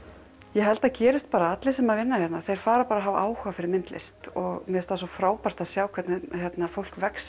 ég held að það gerist bara að allir sem byrja að vinna hérna fara að hafa áhuga á myndlist mér finnst svo frábært að sjá hvernig fólk vex